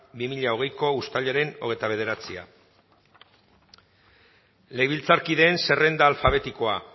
bi mila hogeiko uztailaren hogeita bederatzi legebiltzarkideen zerrenda alfabetikoa